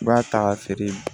I b'a ta k'a feere